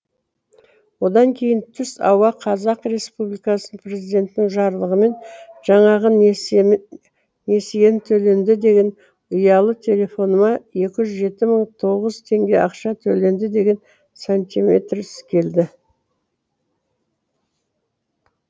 одан кейін түс ауа қазақ республикасы президентінің жарлығымен жаңағы несиен төленді деген ұялы телефоныма екі жүз жеті мың тоғыз теңге ақша төленді деген сантиметрс келді